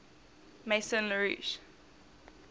maison la roche